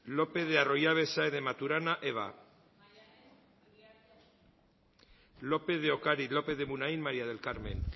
lopez de arroyabe saez de maturana eva lópez de ocariz lópez de munain maría del carmen